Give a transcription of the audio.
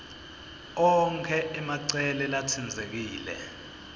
onkhe emacele latsintsekile